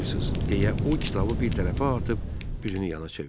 deyə o kitabı bir tərəfə atıb, üzünü yana çevirdi.